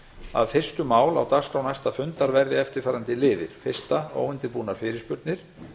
að fyrstu mál á dagskrá næsta fundar verði eftirfarandi liðir fyrsta óundirbúnar fyrirspurnir